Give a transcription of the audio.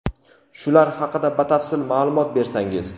Shular haqida batafsil ma’lumot bersangiz.